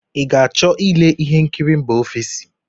Ị ga-achọ ile ihe nkiri mba ofesi?